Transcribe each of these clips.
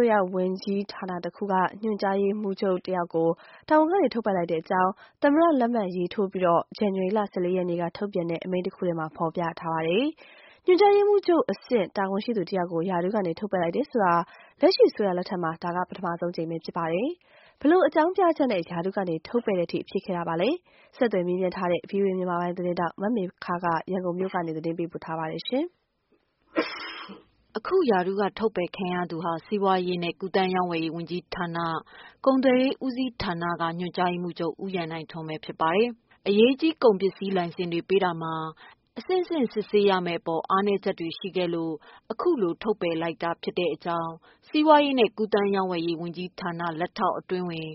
ိုးရ ဝန်ကြီးဌာနတခုက ညွှန်ကြားရေးမှူးချုပ်တဦးကို တာဝန်ကနေ ထုတ်ပယ်လိုက်တဲ့ အကြောင်း သမ္မတလက်မှတ်ထိုးပြီး ဇန်နဝါရီလ ၁၄ ရက်နေ့ကထုတ်ပြန်တဲ့ အမိန့်တရပ်ထဲမှာ ဖော်ပြထားပါတယ်။ ညွှန်ကြားရေးမှူးချုပ် အဆင့် တာဝန်ရှိသူတဦးကို ရာထူးက ထုတ်ပယ်လိုက်တယ်ဆိုတာ လက်ရှိအစိုးရလက်ထက်မှာ ဒါဟာ ပထမဆုံးပါပဲ။ ဘယ်လိုအကြောင်းပြချက်နဲ့ ရာထူးက ထုတ်ပယ်တဲ့ထိ ဖြစ်ခဲ့တာပါလဲ… ဆက်သွယ် မေးမြန်းထားတဲ့ ဗွီအိုအေသတင်းထောက် မမေခက ရန်ကုန်မြို့ကနေ သတင်းပေးပို့ထားပါတယ်။ အခုရာထူးက ထုတ်ပယ်ခံရသူဟာ စီးပွားရေးနဲ့ကူးသန်းရောင်းဝယ်ရေးဝန်ကြီးဌာန၊ ကုန်သွယ်ရေးဦးစီးဌာနက ညွှန်ကြားရေးမှူး ချုပ် ဦးရန်နိုင်ထွန်းဖြစ်ပါတယ်။ အရေးကြီး အထူးကုန်စည် လိုင်စင်တွေပေးတာမှာ အဆင့်ဆင့် စစ်ဆေးရမယ့်အပေါ် အားနည်း ချက်တွေ ရှိခဲ့လို့ အခုလို ထုတ်ပယ်လိုက်တာဖြစ်တဲ့အကြောင်း စီးပွားရေးနဲ့ ကူးသန်းရောင်းဝယ်ရေး ဝန်ကြီးဌာန လက်ထောက်အတွင်းဝန်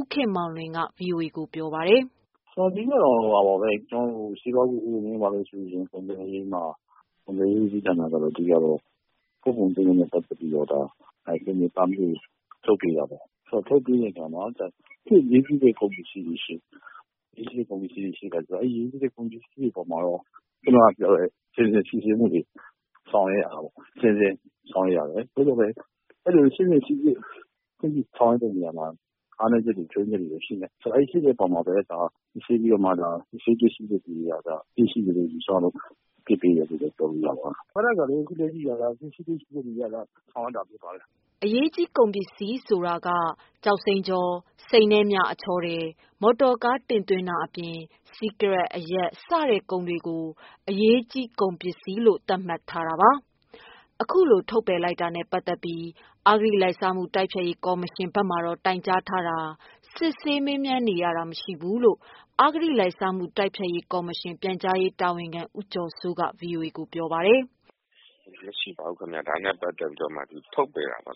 ဦးခင်မောင်လွင်က ဗွီအိုအေကို ပြောပါတယ်။ "ကုန်သွယ်ရေးဦးစီးဌာနဆိုတာ အဓိကကတော့ ပို့ကုန်သွင်းကုန်နဲ့ပတ်သတ်ပြီးတော့ ဒါလိုင်စင်တွေ ပါမစ် တွေထုတ်ပေးတာပေါ့။ ထုတ်ပေးတာမှာ တချို့အရေးကြီးတဲ့ ကုန်ပစ္စည်းတွေ ရှိတယ်။ အရေးကြီးတဲ့ ကုန်ပစ္စည်းတွေ ပို့တာသွင်းတာအပေါ်မှာတော့ အခုနပြောသလို အဆင့်ဆင့် စစ်ဆေးမှုတွေ ဆောင်ရွက်ရတယ်။ အဆင့်ဆင့်စိစစ်ခွင့် ပြုတာတွေမှာ အားနည်းချက် ချွု့ိယွင်းချက်တွေ ရှိတဲ့ အပေါ်မှာ စစ်ဆေးတွေ့ရှိချက်အရ အပြစ်ရှိတယ်လို့ ယူဆလို့ အရေးယူတာပါ။ စစ်ဆေးတွေ့ရှိချက်အရ ဆောင်ရွက်တာဖြစ်ပါတယ်။" အရေးကြီးအထူးကုန်စည်ဆိုတာကကျောက်စိမ်းချော၊ စိန်နဲ့မြ အချောထည်၊ မော်တော်ကားတင်သွင်းတာအပြင် စီးကရက်၊ အရက် စတဲ့ကုန်တွေကို အရေးကြီးအထူးကုန်စည်လို့ သတ်မှတ်ထားတာပါ။ ဒီလိုထုတ်ပယ်တာနဲ့ပတ်သက်ပြီး အဂတိလိုက်စားမှုတိုက်ဖျက်ရေးကော်မရှင်ဘက်မှာတော့ တိုင်ကြားထားတာ၊ စစ်မေးနေရတာ မရှိဘူးလို့ အဂတိ လိုက်စားမှု တိုက်ဖျက်ရေးကော်မရှင် ပြန်ကြားရေးတာဝန်ခံ ဦးကျော်စိုးက ဗွီအိုအေကိုပြောပါတယ်။ "ဒါနဲ့ပတ်သတ်ပြီး မရှိပါဘူး။ ထုတ်ပယ်တာပါ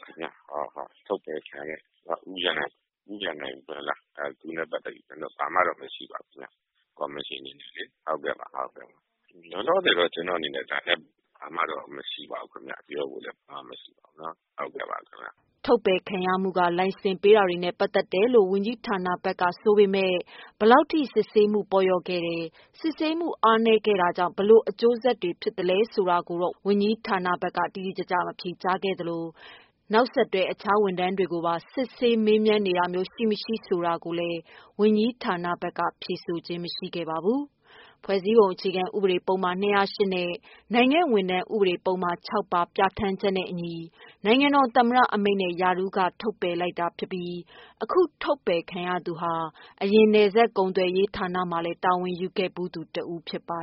။ ဦးရန်နိုင်ထွန်းနဲ့ပတ်သတ်ပြီး ဘာမှမရှိပါဘူး။ ကော်မရှင်အနေနဲ့လေ။ လောလောဆယ်ကော်မရှင် အနေနဲ့ ဒါနဲ့ပတ်သတ်ပြီးဘာမှ မရှိပါဘူးခင်ဗျ" ထုတ်ပါယ်ခံရမှုက လိုင်စင်ပေးတာတွေနဲ့ပတ်သက်တယ်လို့ ဝန်ကြီးဌာနဘက်က ဆိုပေမယ့် ဘယ်လောက်ထိ စစ်ဆေးမှု ပေါ့လျော့ခဲ့တယ်၊ စစ်ဆေးမှုအားနည်းခဲ့တာကြောင့် ဘယ်လို အကျိုးဆက်တွေ ဖြစ်ခဲ့လဲဆိုတာကို တော့ ဝန်ကြီးဌာနဘက်က တိတိကျကျ မဖြေခဲ့သလို ဒီလို အရေးယူမှုမှာ နောက်ဆက်တွဲ တခြားဝန်ထမ်းတွေကိုပါ စစ်ဆေးမေးမြန်းနေတာမျိုး ရှိမရှိ ဆိုတာကိုလည်း ဝန်ကြီးဌာနဘက်က ဖြေဆိုခြင်းမရှိပါဘူး။ ဖွဲ့စည်းပုံ အခြေခံဥပဒေပုဒ်မ ၂၀၈ နဲ့ နိုင်ငံဝန်ထမ်း ဥပဒေပုဒ်မ ၆ ပါ ပြဌာန်းချက်နဲ့အညီ နိုင်ငံတော်သမ္မတအမိန့်နဲ့ ရာထူးက ထုတ်ပယ်ခဲ့တာဖြစ်ပြီး အခုထုတ်ပယ်ခံရသူဟာ အရင်က နယ်စပ်ကုန်သွယ်ရေးဌာနမှာလည်း တာဝန်ယူခဲ့ဖူးသူတဦး ဖြစ်ပါ